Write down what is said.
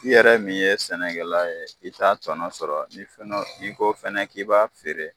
I yɛrɛ min ye sɛnɛkɛla ye i t'a tɔnɔ sɔrɔ ni fɔnɔ ni ko fɛnɛ k'i b'a feere